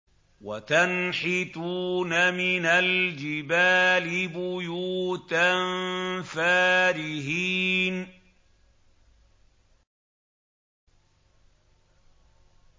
وَتَنْحِتُونَ مِنَ الْجِبَالِ بُيُوتًا فَارِهِينَ